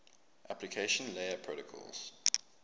application layer protocols